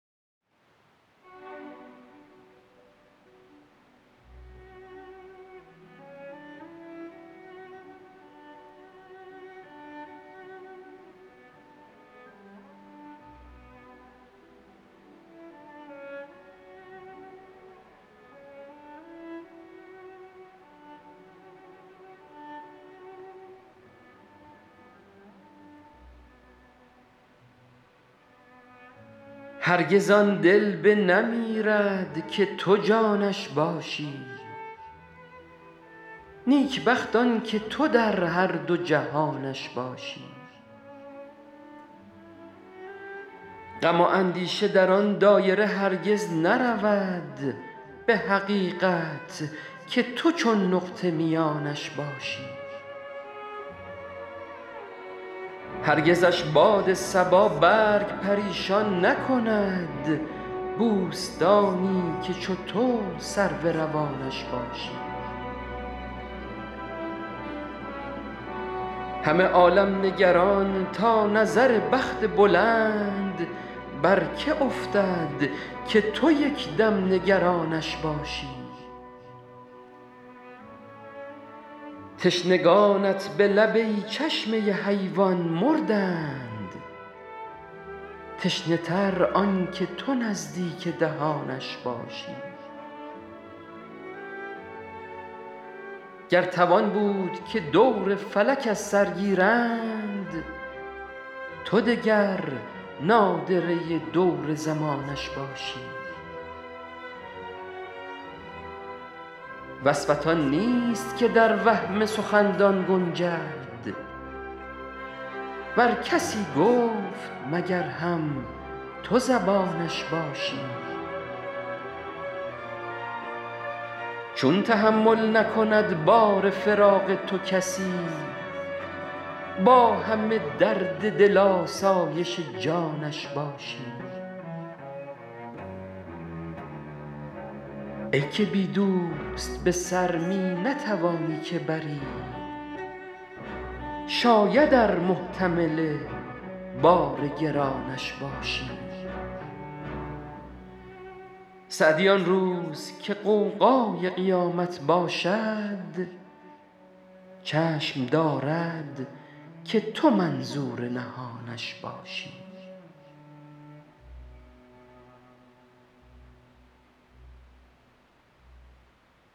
هرگز آن دل بنمیرد که تو جانش باشی نیکبخت آن که تو در هر دو جهانش باشی غم و اندیشه در آن دایره هرگز نرود به حقیقت که تو چون نقطه میانش باشی هرگزش باد صبا برگ پریشان نکند بوستانی که چو تو سرو روانش باشی همه عالم نگران تا نظر بخت بلند بر که افتد که تو یک دم نگرانش باشی تشنگانت به لب ای چشمه حیوان مردند تشنه تر آن که تو نزدیک دهانش باشی گر توان بود که دور فلک از سر گیرند تو دگر نادره دور زمانش باشی وصفت آن نیست که در وهم سخندان گنجد ور کسی گفت مگر هم تو زبانش باشی چون تحمل نکند بار فراق تو کسی با همه درد دل آسایش جانش باشی ای که بی دوست به سر می نتوانی که بری شاید ار محتمل بار گرانش باشی سعدی آن روز که غوغای قیامت باشد چشم دارد که تو منظور نهانش باشی